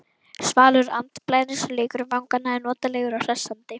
Svalur andblærinn sem leikur um vangana er notalegur og hressandi.